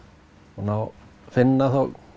og finna